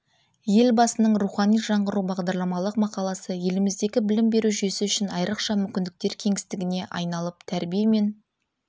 елбасының рухани жаңғыру бағдарламалық мақаласы еліміздегі білім беру жүйесі үшін айрықша мүмкіндіктер кеңістігіне айналып тәрбие мен